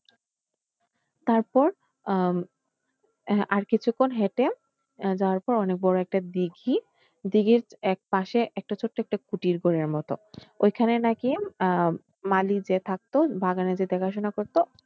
তারপর আহ আর কিছুক্ষণ হেঁটে তারপর অনেক বড় একটা দীঘি, দিঘির একপাশে একটা ছোট্ট একটা কুটির ঘরের মতো ওইখানে নাকি আহ মালি যে থাকত বাগানের যে দেখাশোনা করত।